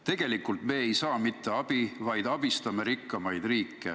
Tegelikult me ei saa mitte abi, vaid me abistame rikkamaid riike.